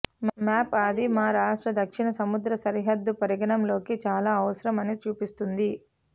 map అది మా రాష్ట్ర దక్షిణ సముద్ర సరిహద్దు పరిగణలోకి చాలా అవసరం అని చూపిస్తుంది